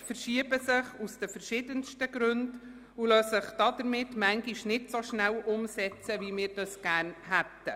Projekte verschieben sich aus den verschiedensten Gründen und lassen sich damit manchmal nicht so rasch umsetzten, wie wir es gerne hätten.